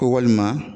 Ko walima